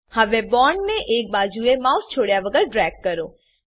હવે બોન્ડ ને એક બાજુ એ માઉસને છોડ્યા વગર ડ્રેગ કરો